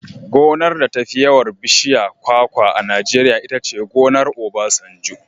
Gonar da tafi yawan bishiyar kwakwa a Najeriya itace gonar Obasanjo.